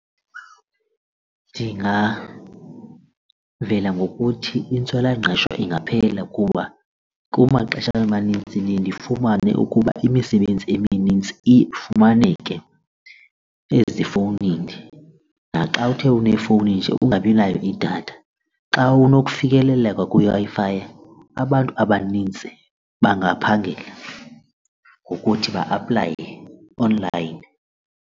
Ndingavela ngokuthi intswelangqesho ingaphela kuba kumaxesha amanintsi ndiye ndifumane ukuba imisebenzi eminintsi iye ifumaneke ezifowunini. Naxa uthe unefowunini nje ungabinayo idatha. Xa kunofikeleleka kwiWi-Fi abantu abanintsi bangaphangela ngokuthi ba-aplaye online.